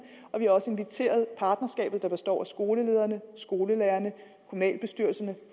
og vi har også inviteret partnerskabet der består af skolelederne skolelærerne kommunalbestyrelserne